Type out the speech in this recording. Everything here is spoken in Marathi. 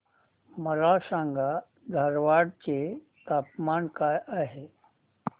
मला सांगा धारवाड चे तापमान काय आहे